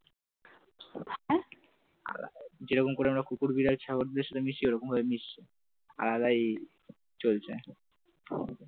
যেরকম করে আমরা কুকুর বিড়াল ছাগলদের সাথে মিশি ওরকম করে মিশছে আলাদাই চলছে